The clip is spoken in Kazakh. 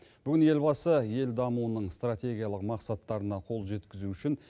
бүгін елбасы ел дамуының стратегиялық мақсаттарына қол жеткізу үшін